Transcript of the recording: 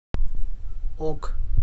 ок